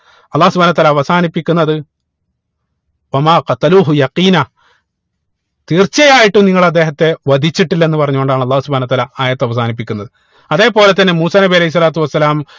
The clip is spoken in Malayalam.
അള്ളാഹു സുബ്‌ഹാനഉ വതാല അവസാനിപ്പിക്കുന്നത് തീർച്ചയായിട്ടും നിങ്ങൾ അദ്ദേഹത്തെ വധിച്ചിട്ടില്ലന്ന് പറഞ്ഞു കൊണ്ടാണ് അള്ളാഹു സുബ്‌ഹാനഉ വതാല ആയത്ത് അവസാനിപ്പിക്കുന്നത് അതേപോലെ തന്നെ മൂസാ നബി അലൈഹി സ്വലാത്തു വസ്സലാം